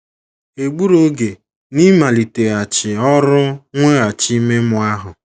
Ha egburu oge n’ịmaliteghachi ọrụ mweghachi ime mmụọ ahụ.